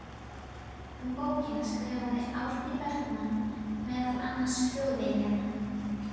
Um bókina skrifaði Árni Bergmann meðal annars í Þjóðviljann